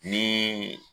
Ni